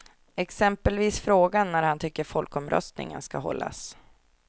Exempelvis frågan när han tycker folkomröstningen ska hållas.